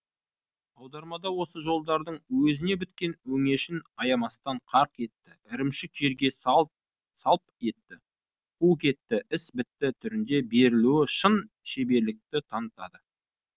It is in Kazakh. аудармада осы жолдардың өзіне біткен өңешін аямастан қарқ етті ірімшік жерге салп етті қу кетті іс бітті түрінде берілуі шын шеберлікті танытады